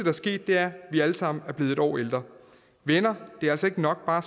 er sket er at vi alle sammen er blevet et år ældre venner det er altså ikke nok bare